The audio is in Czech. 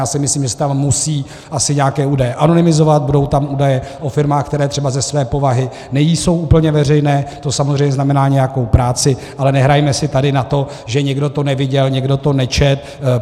Já si myslím, že se tam asi musí nějaké údaje anonymizovat, budou tam údaje o firmách, které třeba ze své povahy nejsou úplně veřejné, to samozřejmě znamená nějakou práci, ale nehrajme si tady na to, že nikdo to neviděl, nikdo to nečetl.